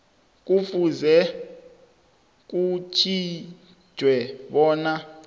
kufuze kutjhejwe bona